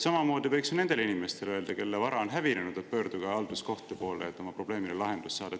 Samamoodi võiks nendele inimestele öelda, kelle vara on hävinenud, et pöörduge halduskohtu poole, et oma probleemile lahendus saada.